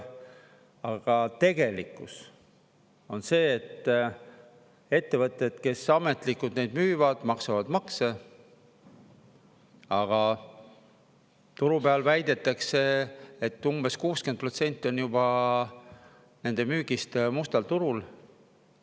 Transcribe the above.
Aga tegelikkus on see, et ettevõtted, kes ametlikult neid müüvad, maksavad makse, aga turu peal väidetakse, et umbes 60% on juba nende müügist mustal turul.